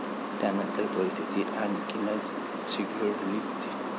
त्यानंतर परिस्थिती आणखीनच चिघळली होती.